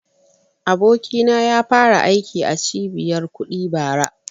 Abokina ya fara aiki a cibiyar kuɗi bara